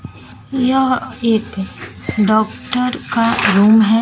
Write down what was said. यह एक डॉक्टर का रूम है।